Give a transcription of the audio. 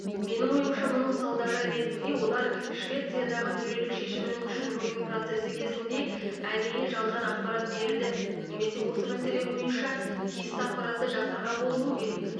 менің ойымша мұның салдары ретінде олар швециядағы төрелік шешімінің күшін жою процесі кезінде әдейі жалған ақпарат берді немесе осы мәселе бойынша тиісті ақпаратты жасырған болуы керек